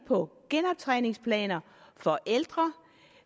på genoptræningsplaner for ældre